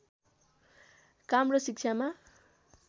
काम र शिक्षामा